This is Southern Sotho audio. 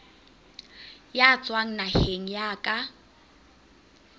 ya tswang naheng ya ka